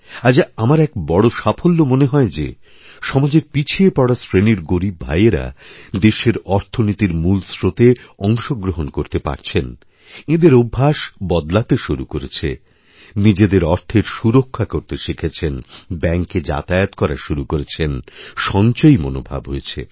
আজ আমার এক বড় সাফল্য মনে হয় যে সমাজেরপিছিয়ে পড়া শ্রেণির গরীব ভাইয়েরা দেশের অর্থনীতির মূলস্রোতে অংশগ্রহণ করতে পারছেনএঁদের অভ্যাস বদলাতে শুরু করেছেন নিজেদের অর্থের সুরক্ষা করতে শিখেছেন ব্যাঙ্কেযাতায়াত করা শুরু করেছেন সঞ্চয়ী মনোভাব হয়েছে